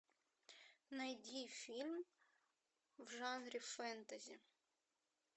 найди фильм в жанре фэнтези